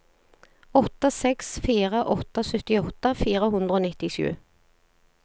åtte seks fire åtte syttiåtte fire hundre og nittisju